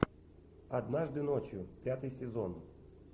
однажды ночью пятый сезон